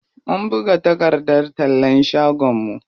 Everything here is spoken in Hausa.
Mun buga takardar tallan shagon mu.